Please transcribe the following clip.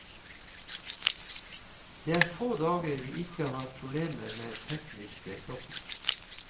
Det er få dager vi ikke har problemer med tekniske stopp.